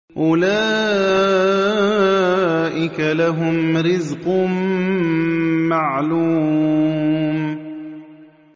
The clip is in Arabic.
أُولَٰئِكَ لَهُمْ رِزْقٌ مَّعْلُومٌ